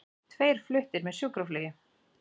Tveir fluttir með sjúkraflugi